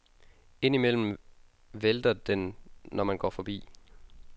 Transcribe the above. Ind imellem vælter den, når man går forbi.